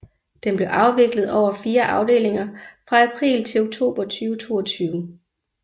Den blev afviklet over fire afdelinger fra april til oktober 2022